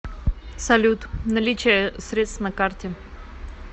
салют наличие средств на карте